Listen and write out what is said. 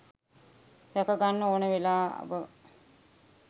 රැක ගන්න ඕන වෙලාව.